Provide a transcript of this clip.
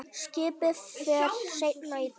Skipið fer seinna í dag.